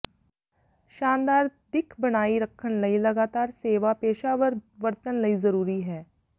ਸ਼ਾਨਦਾਰ ਦਿੱਖ ਬਣਾਈ ਰੱਖਣ ਲਈ ਲਗਾਤਾਰ ਸੇਵਾ ਪੇਸ਼ਾਵਰ ਵਰਤਣ ਲਈ ਜ਼ਰੂਰੀ ਹੈ